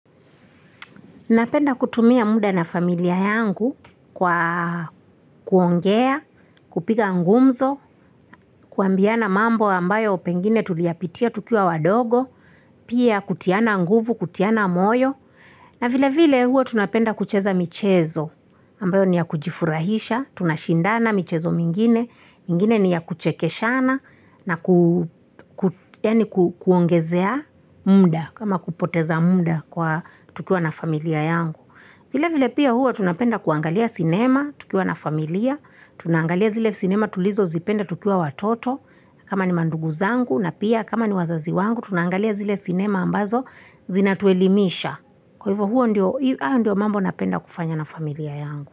Napenda kutumia muda na familia yangu kwa kuongea, kupiga ngumzo, kuambiana mambo ambayo pengine tuliyapitia tukiwa wadogo, pia kutiana nguvu, kutiana moyo. Na vilevile hua tunapenda kucheza michezo ambayo ni ya kujifurahisha, tunashindana michezo mingine, mingine ni ya kuchekeshana na kuongezea muda kama kupoteza muda kwa tukiwa na familia yangu. Vilevile pia hua tunapenda kuangalia sinema tukiwa na familia, tunangalia zile sinema tulizo zipenda tukiwa watoto, kama ni mandugu zangu na pia, kama ni wazazi wangu, tunangalia zile sinema ambazo zinatuelimisha. Kwa ivo huo ndio hayo ndio mambo napenda kufanya na familia yangu.